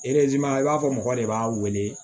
i b'a fɔ mɔgɔ de b'a wele